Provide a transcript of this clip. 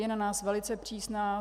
Je na nás velice přísná.